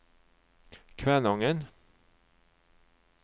Kvænangen